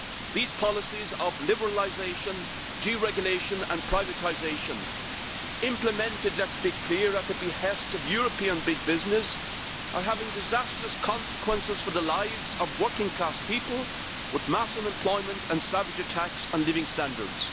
These policies of liberalisation, deregulation and privatisation implemented, let us be clear, at the behest of European big business are having disastrous consequences for the lives of working class people, with mass unemployment and savage attacks on living standards.